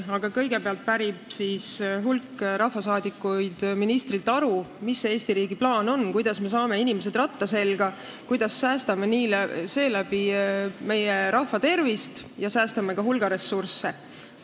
Aga kõigepealt pärib hulk rahvasaadikuid ministrilt aru, milline on Eesti riigi plaan, kuidas me saame inimesed ratta selga, kuidas säästame seeläbi meie rahva tervist ja ka hulga ressursse.